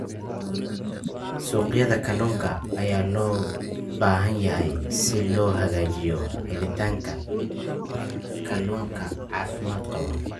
Suuqyada kalluunka ayaa loo baahan yahay si loo hagaajiyo helitaanka kalluunka caafimaad qaba.